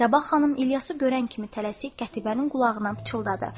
Zəbah xanım İlyası görən kimi tələsik Qətibənin qulağına pıçıldadı.